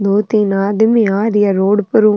दो तीन आदमी आ राय है रोड पर ऊ।